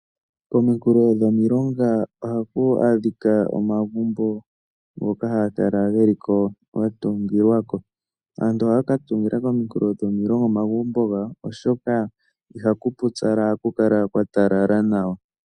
Kominkulo dhomilonga ohaku adhika omagumbo ngoka haga kala ge li ko ga tungilwa ko. Aantu ohaya ka tungila kominkulo dhomilonga omagumbo gawo, oshoka ihaku pupyala ohaku kala kwa talala nawa.